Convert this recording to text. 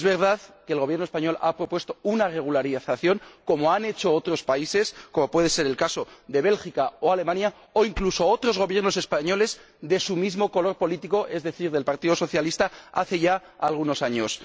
Es verdad que el Gobierno español ha propuesto una regularización como han hecho otros países —como puede ser el caso de Bélgica o Alemania— o incluso otros gobiernos españoles de su mismo color político es decir, del Partido Socialista hace ya algunos años.